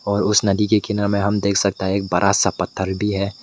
और उस नदी के किनारे में हम देख सकता है एक बड़ा सा पत्थर भी है।